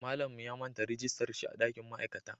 Mallan mu ya manta rijistar shi a dankin ma'aikata